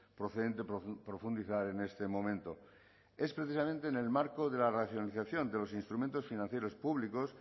procedente profundizar en este momento es precisamente en el marco de la racionalización de los instrumentos financieros públicos